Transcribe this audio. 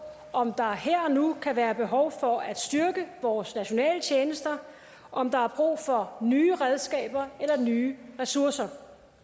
om der her og nu kan være behov for at styrke vores nationale tjenester om der er brug for nye redskaber eller nye ressourcer